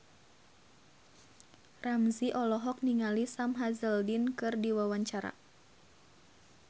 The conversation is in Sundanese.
Ramzy olohok ningali Sam Hazeldine keur diwawancara